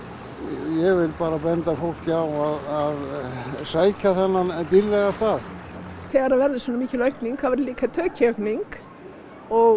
ég vil bara benda fólki á að sækja þennan dýrðlega stað þegar verður svona mikil aukning þá verður líka tekjuaukning og